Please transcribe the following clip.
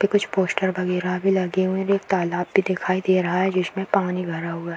पे कुछ पोस्टर वगैरा भी लगे हुए हैं और एक तालाब भी दिखाई दे रहा है जिसमें पानी भरा हुआ --